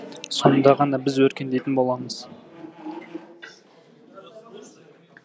сонда ғана біз өркендейтін боламыз